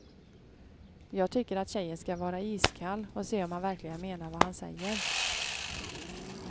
Jag tycker att tjejen ska vara iskall och se om han verkligen menar vad han säger.